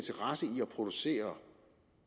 producere